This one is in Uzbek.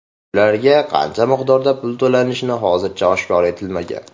Ularga qancha miqdorda pul to‘lanishi hozircha oshkor etilmagan.